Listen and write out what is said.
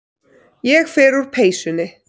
Ég fer úr peysunni.